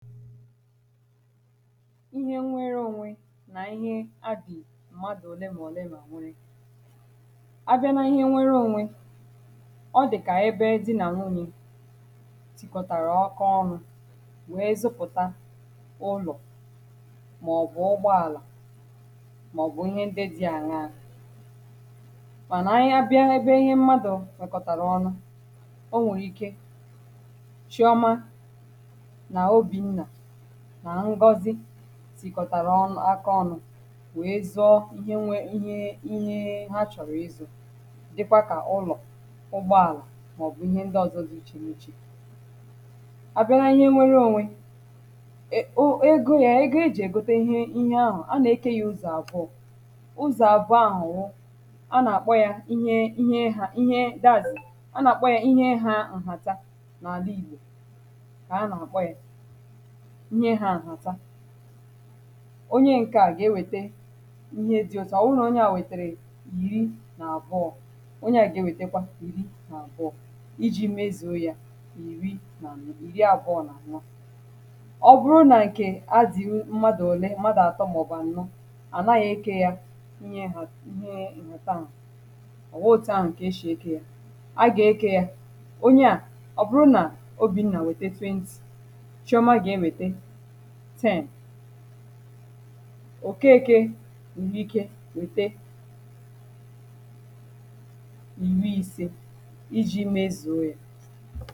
ihe nnwere onwe na ihe adị mmadụ òlé m'òlé m a nwere abịa na ihe nnwere onwe ọ dị ka ebe dị na n'unye tikọtara ọkọ ọnụ wee zụpụta ụlọ maọbụ ụgbọala maọbụ ihe ndị dị aṅyọọ mana ihe abịa ebe ihe mmadụ mekọtara ọnụ o nwere ike nà ngọzi sìkọ̀tàrà ọ̀nụ̀ aka ọnụ̇ wèe zọọ ihe nwė ihe ihe ha chọ̀rọ̀ ịzụ̇ dịkwȧ kà ụlọ̀ ụgbọàlà màọbụ̀ ihe ndị ọ̀zọ dị ichèmichè à bịa nà ihe nnwere ònwe egȯ yȧ ihe o ejì ègote ihe ahụ̀ a nà-ekė yȧ ụzọ̀ àbụọ ụzọ̀ àbụọ a wụ a nà-àkpọ ya ihe ihe ha ihe dazị̀ a nà-àkpọ ya ihe ha ǹhàta n’àla ìgbò kà a nà-àkpọ ya nye ha nhata onye ǹkè a ga-ewète ihe di otu ọ̀ wụ nà onye a wètèrè yiri nà àbụọ̇ onye a gà-ewètekwa yiri nà àbụọ̇ iji̇ mezòo ya yìri ìri àbụọ̇ nà ànọ ọ bụrụ nà ǹkè a zi̇u mmadụ̀ ole mmadụ̀ atọ̀ màọ̀bụ̀ ànọ ànaghị̇ ike ya inye ha ihe nhata ọ̀ghọtu ahụ̀ ǹkè eshè eke ya a gà-ekė ya onye a ọ bụrụ nà obi̇ nà wète 20 òkekė n’ìhè ike wètė ènwee ise iji̇ mezùe